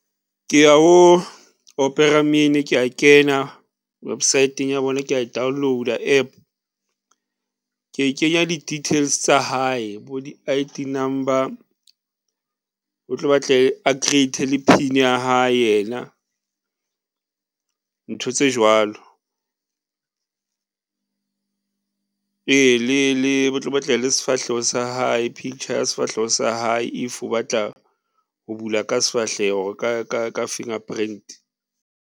Ke ya ho Opera Mini, kea kena website-ng ya bona, kea e download-a App. Ke kenya di-details tsa hae, bo di-I_D number ho tlo batla a create-e le PIN ya hae yena ntho tse jwalo. Ee le ba tlo batla le sefahleho sa hae picture ya sefahleho sa hae, if o batla ho bula ka sefahleho ka fingerprint.